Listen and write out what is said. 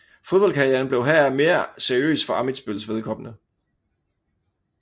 Fodboldkarrieren blev heraf mere seriøs for Ammitzbølls vedkommende